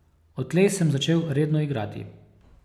Odtlej sem začel redno igrati.